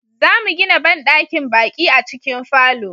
zamu gina banɗakin baƙi a cikin falo